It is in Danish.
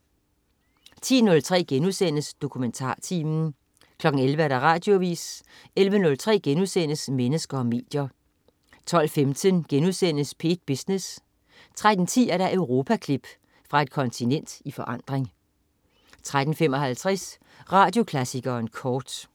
10.03 DokumentarTimen* 11.00 Radioavis 11.03 Mennesker og medier* 12.15 P1 Business* 13.10 Europaklip. Fra et kontinent i forandring 13.55 Radioklassikeren kort